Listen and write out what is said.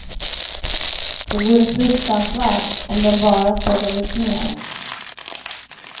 Det vore fruktansvärt om den bara sågades ner.